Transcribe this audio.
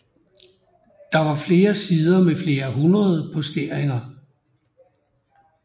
Der var flere sider med flere hundrede posteringer